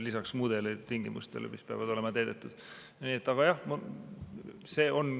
Lisaks muudele tingimustele, mis peavad olema täidetud, on ka eesti keele omandamine.